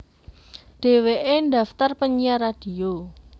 Dheweke daftar penyiar radio